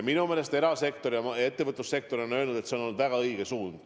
Minu meelest erasektor ja kogu ettevõtlussektor on öelnud, et see on olnud väga õige suund.